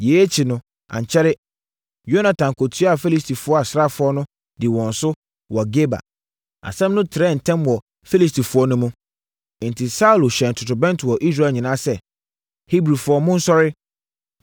Yei akyi no, ankyɛre, Yonatan kɔtuaa Filistifoɔ asraafoɔ no dii wɔn so wɔ Geba. Asɛm no trɛɛ ntɛm so wɔ Filistifoɔ no mu. Enti Saulo hyɛn torobɛnto wɔ Israel nyinaa sɛ, “Hebrifoɔ, monsɔre!”